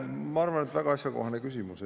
Ma arvan, et väga asjakohane küsimus.